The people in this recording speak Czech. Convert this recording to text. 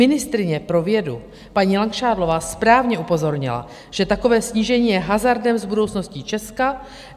Ministryně pro vědu paní Langšádlová správně upozornila, že takové snížení je hazardem s budoucností Česka.